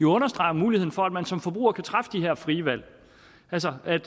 understreger muligheden for at man som forbruger kan træffe de her frie valg altså at